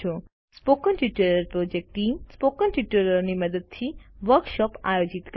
spoken tutorial project team spoken ટ્યુટોરીયલોની મદદથી workshop આયોજિત કરે છે